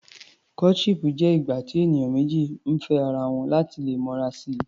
Courtship jẹ́ ìgbà tí ènìyàn méjì ń fẹ́ ara wọn láti lè mọra si.